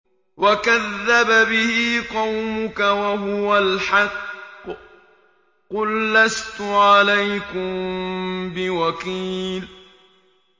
وَكَذَّبَ بِهِ قَوْمُكَ وَهُوَ الْحَقُّ ۚ قُل لَّسْتُ عَلَيْكُم بِوَكِيلٍ